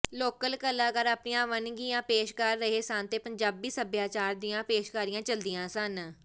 local ਕਲਾਕਾਰ ਆਪਣੀਆਂ ਵੰਨਗੀਆਂ ਪੇਸ਼ ਕਰ ਰਹੇ ਸਨ ਤੇ ਪੰਜਾਬੀ ਸੱਭਿਆਚਾਰ ਦੀਆਂ ਪੇਸ਼ਕਾਰੀਆਂ ਚੱਲੀਆਂ ਸਨ